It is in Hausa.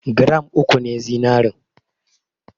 Gram uku ne zinarin.